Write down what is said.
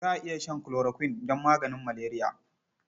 Za a iya shan chloroquine don maganin maleriya.